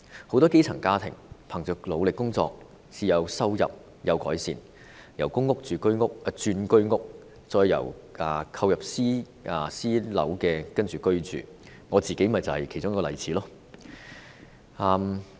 很多基層家庭憑着努力工作至收入有改善，由公屋轉居屋，再購入私樓居住，我自己正是其中一個例子。